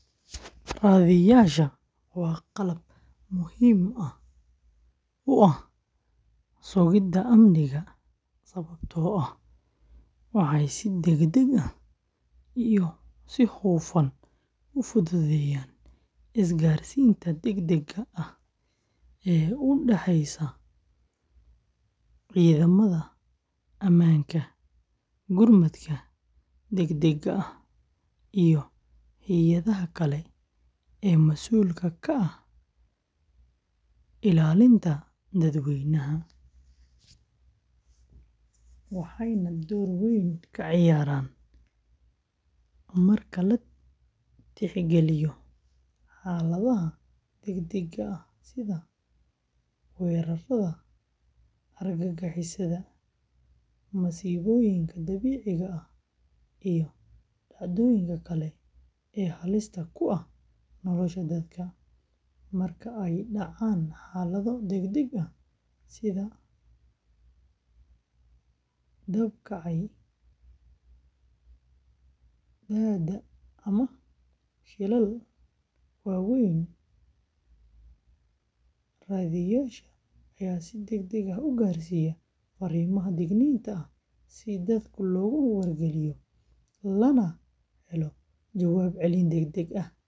Raadiyeyaasha waa qalab muhiim u ah sugidda amniga sababtoo ah waxay si degdeg ah iyo hufan u fududeeyaan isgaarsiinta degdegga ah ee u dhexeysa ciidamada ammaanka, gurmadka degdegga ah, iyo hay’adaha kale ee mas’uulka ka ah ilaalinta dadweynaha, waxaana ay door weyn ka ciyaaraan marka la tixgeliyo xaaladaha degdegga ah sida weerarada argagixisada, masiibooyinka dabiiciga ah, iyo dhacdooyinka kale ee halista ku ah nolosha dadka. Marka ay dhacaan xaalado degdeg ah, sida dab ka kacay, daadad ama shilal waaweyn, raadiyeyaasha ayaa si degdeg ah u gaarsiiya fariimaha digniinta ah si dadka loogu wargeliyo, lana helo jawaab celin degdeg ah.